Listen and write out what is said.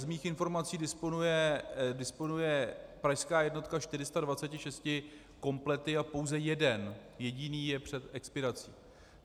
Z mých informací disponuje pražská jednotka 426 komplety a pouze jeden jediný je před expirací.